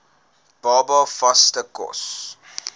baba vaste kos